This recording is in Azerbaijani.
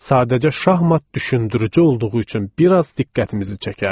Sadəcə şahmat düşündürücü olduğu üçün bir az diqqətimizi çəkərdi.